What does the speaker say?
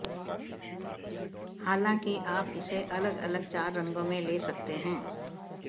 हालाँकि आप इसे अलग अलग चार रंगों में ले सकते हैं